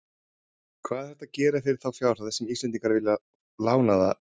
Hvað er hægt að gera fyrir þá fjárhæð sem Íslendingar vilja fá lánaða hjá Rússum?